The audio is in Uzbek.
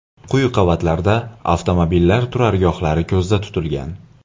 Quyi qavatlarda avtomobillar turargohlari ko‘zda tutilgan.